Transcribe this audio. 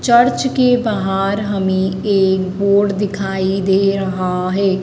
Church के बाहर हमें एक बोर्ड दिखाई दे रहा है।